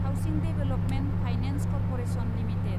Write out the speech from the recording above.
housing development finance corporation limited